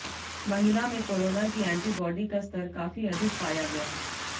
महिला में कोरोना की एंटीबॉडी का स्तर काफी अधिक पाया गया